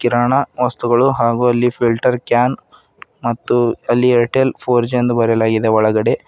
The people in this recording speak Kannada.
ಕಿರಾಣಾ ವಸ್ತುಗಳು ಹಾಗು ಅಲ್ಲಿ ಫಿಲ್ಟರ್ ಕ್ಯಾನ್ ಮತ್ತು ಅಲ್ಲಿ ಏರ್ಟೆಲ್ ಫೋರ್ ಜಿ ಎಂದು ಬರೆಯಲಾಗಿದೆ ಒಳಗಡೆ.